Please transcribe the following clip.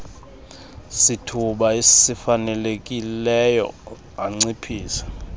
sithuba sifanelekileyo anciphise